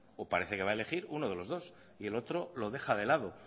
o parece que va a elegir uno de los dos y el otro lo deja de lado